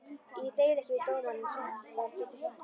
Ég deili ekki við dómarann, en samstarf getur hjálpað.